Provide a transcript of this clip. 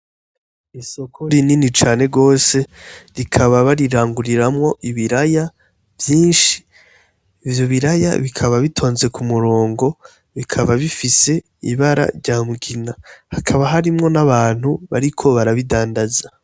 Isoko rinini cane gose rikaba bariranguriramwo ibiraya vyinshi ivyo biraya bikaba bitonze ku murongo bikaba bifise ibara rya mugina hakaba harimwo n' abantu bariko barabidandaza.